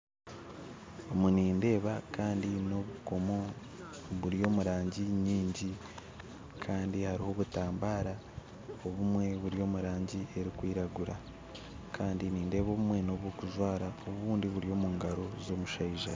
Omu nindeeba n'obukoomo kandi buri omu rangi nyingi kandi hariho obutambara kandi buri omurangi erikwiragura kandi hariho obutambara oburi omurangi erikwiragura Kandi nindeeba obumwe nobw'okujwara obundi buri omungaaro z'omushaija